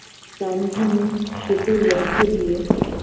রামধনু সেতুর মধ্য দিয়ে